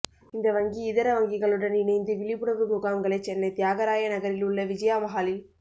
இந்த வங்கி இதர வங்கிகளுடன் இணைந்து விழிப்புணா்வு முகாம்களை சென்னைத் தியாகராய நகரில் உள்ள விஜயா மஹாலில்